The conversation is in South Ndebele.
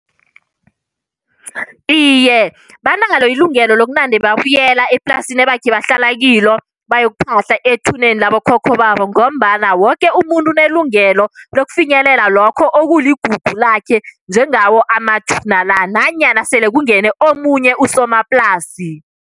Iye, banalo ilungelo lokunande babuyela eplasini ebakhe bahlala kilo, bayokuphahla ethuneni labokhokho babo. Ngombana woke umuntu unelungelo nokufinyelela lokho okuligugu lakhe, njengawo amathuna la, nanyana sele kungene omunye usomaplasi.